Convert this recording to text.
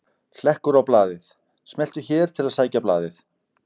Hlekkur á blaðið: Smelltu hér til að sækja blaðið